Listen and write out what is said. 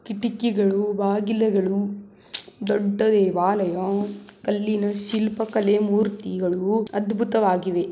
ಕಿಟಕಿಗಳು ಬಾಗಿಲುಗಳು ದೊಡ್ಡ ದೇವಾಲಯ ಕಲ್ಲಿನ ಶಿಲ್ಪಕಲೆ ಮೂರ್ತಿಗಳು ಅದ್ಬುತವಗಿವೆ.